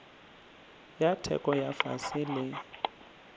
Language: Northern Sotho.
ya theko ya fase le